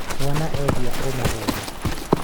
mwana ehia ũmũhũre